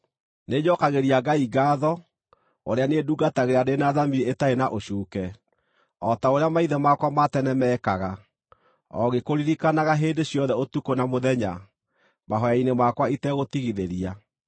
Nĩnjookagĩria Ngai ngaatho, ũrĩa niĩ ndungatagĩra ndĩ na thamiri ĩtarĩ na ũcuuke, o ta ũrĩa maithe makwa ma tene meekaga, o ngĩkũririkanaga hĩndĩ ciothe ũtukũ na mũthenya, mahooya-inĩ makwa itegũtigithĩria.